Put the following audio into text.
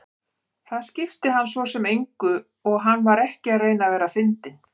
Það skipti hann svo sem engu og hann var ekki að reyna að vera fyndinn.